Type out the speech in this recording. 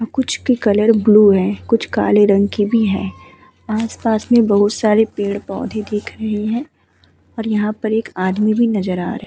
कुछ के colour blue हैं। कुछ काले रंग की भी हैं। आस-पास में बहोत सारे पेड़-पौधे भी दिख रहे हैं और यहाँ पे एक आदमी भी नजर आ रहा --